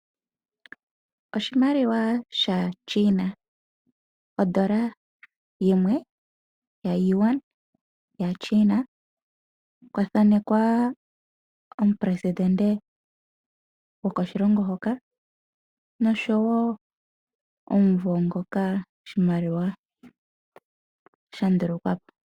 Oshimaliwa sha China ondola yimwe ya Yuan ya China, kwa thanekwa omupelesindente go koshilongo hoka noshowo omumvo ngoka oshimaliwa sha ndulukwapo.